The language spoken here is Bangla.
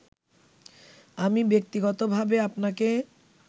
আমি ব্যক্তিগতভাবে আপনাকে